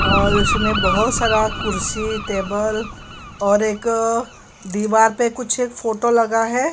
और उसमें बहोत सारा कुर्सी टेबल और एक दीवार पे कुछ एक फोटो लगा है।